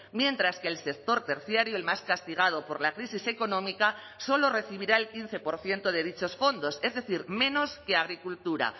mientras que el sector terciario el más castigado por la crisis económica solo recibirá el quince por ciento de dichos fondos es decir menos que agricultura